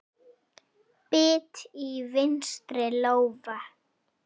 Bit í vinstri lófa.